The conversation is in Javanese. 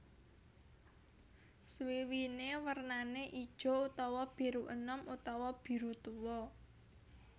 Swiwiné wernané ijo utawa biru enom utawa biru tuwa